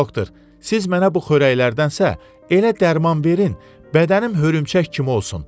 Doktor, siz mənə bu xörəklərdənsə elə dərman verin, bədənim hörümçək kimi olsun.